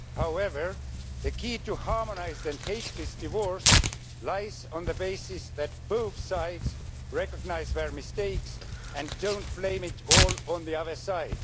However, the key to a harmonised and hateless divorce lies on the basis that both sides recognise their mistakes and do not blame it all on the other side.